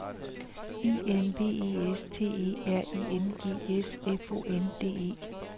I N V E S T E R I N G S F O N D E